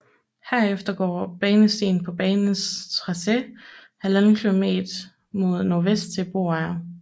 Herfra går Banestien på banens tracé 1½ km mod nordvest til Broager